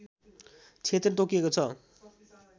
क्षेत्र तोकिएको छ